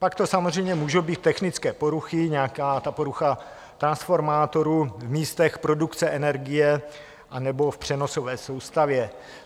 Pak to samozřejmě můžou být technické poruchy, nějaká ta porucha transformátoru v místech produkce energie anebo v přenosové soustavě.